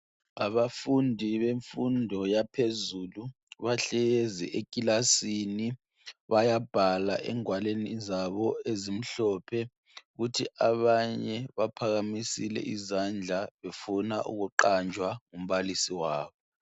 Abafundi bemfundo yaphezulu bahlezi ekilasini bayabhala engwalweni zabo ezimhlophe kuthi abanye baphakamise izandla befuna ukuqanjwa umbalisi wabo.